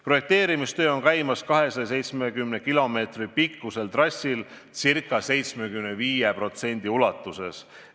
Projekteerimistöö on käimas 270 kilomeetri pikkusel trassil ca 75% ulatuses.